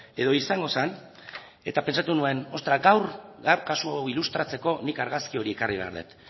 edo izango zen eta pentsatu nuen ostra gaur gaur kasu hau ilustratzeko nik argazki hori ekarri behar dut